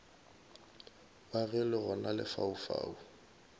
wa ge le gona lefaufau